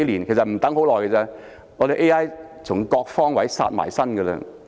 不用多久 ，AI 便會從各個方位殺到。